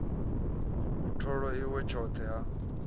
u tholwa iwa tshothe ha